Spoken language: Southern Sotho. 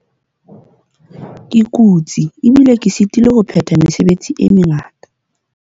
ke kutse ebile ke sitilwe ho phetha mesebetsi e mengata